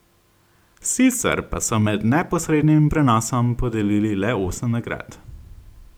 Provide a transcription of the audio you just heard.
Sicer pa so med neposrednim prenosom podelili le osem nagrad.